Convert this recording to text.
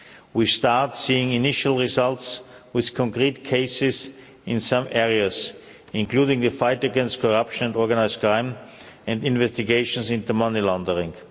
We start seeing initial results with concrete cases in some areas, including the fight against corruption and organised crime and investigations into money laundering.